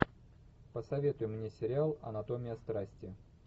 посоветуй мне сериал анатомия страсти